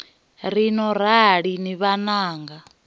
ri no rali ni vhananga